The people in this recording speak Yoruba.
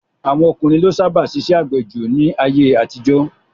Àwọn ọkùnrin ló sábà ṣiṣẹ́ àgbẹ̀ jù ní ayé-àtijọ́.